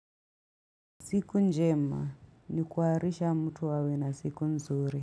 Siku njema ni kuwarisha mtu awe na siku nzuri.